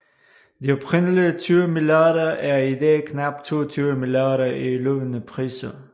De oprindelige 20 milliarder er i dag knap 22 milliarder i løbende priser